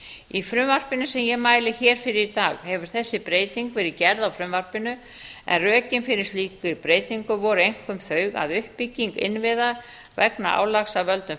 í frumvarpinu sem ég mæli hér fyrir í dag hefur þessi breyting verið gerð á frumvarpinu en rökin fyrir slíkri breytingu voru einkum þau að uppbygging innviða vegna álags af völdum